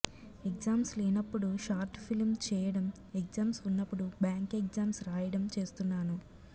exams లేనప్పుడు short film చేయడం exams ఉన్నప్పుడు బ్యాంక్ ఎగ్జామ్స్ రాయడం చేస్తున్నాను